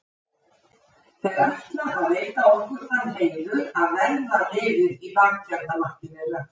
Þeir ætla að veita okkur þann heiður að verða liðir í baktjaldamakki þeirra.